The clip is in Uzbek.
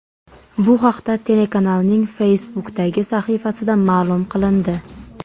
Bu haqda telekanalning Facebook’dagi sahifasida ma’lum qilindi .